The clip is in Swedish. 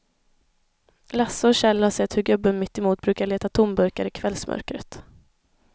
Lasse och Kjell har sett hur gubben mittemot brukar leta tomburkar i kvällsmörkret.